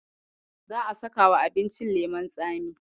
Za'a sakawa abincin leman tsami.